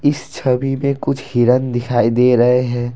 इस छवि में कुछ हिरन दिखाई दे रहे हैं।